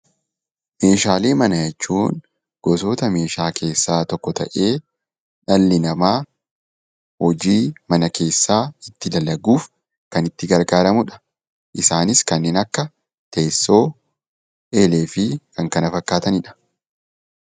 Meeshaalee manaa jechuun gosoota meeshaa keessaa tokko ta'ee dhalli namaa hojii mana keessaa itti dalaguuf kan itti gargaaramudha. Isaanis kanneen akka teessoo, eelee fi kan kana fakkaatanidha.